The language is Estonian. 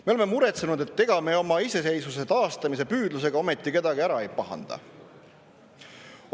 Me oleme muretsenud, et ega me oma iseseisvuse taastamise püüdlusega ometi kedagi ära ei pahanda.